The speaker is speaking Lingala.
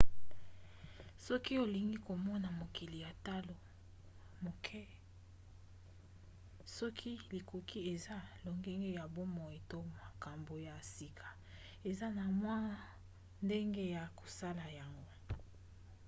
soki olingi komona mokili na talo moke soki likoki eza lolenge ya bomoi to makambo ya sika eza na mwa ndenge ya kosala yango